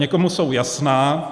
Někomu jsou jasná.